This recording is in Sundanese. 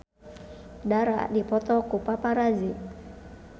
Dara dipoto ku paparazi